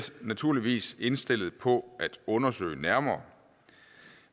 naturligvis indstillet på at undersøge nærmere